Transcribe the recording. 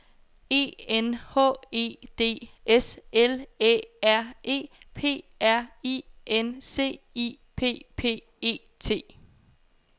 E N H E D S L Æ R E R P R I N C I P P E T